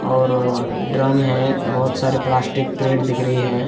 और ड्रम है बहुत सारे प्लास्टिक क्रेट दिख रहे हैं।